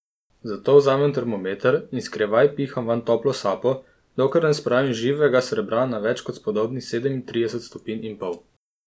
Zato vzamem termometer in skrivaj piham vanj toplo sapo, dokler ne spravim živega srebra na več kot spodobnih sedemintrideset stopinj in pol.